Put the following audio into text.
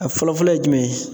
A fɔlɔ-fɔlɔ ye jumɛn ye?